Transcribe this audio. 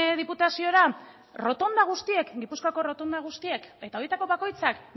diputaziora rotonda guztiek gipuzkoako rotonda guztiek eta horietako bakoitzak